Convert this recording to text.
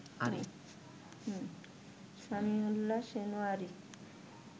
Samiullah Shinwari